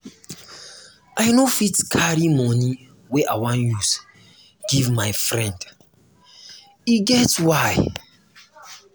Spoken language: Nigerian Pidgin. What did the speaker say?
i no fit carry moni wey i wan use give my friend e get why.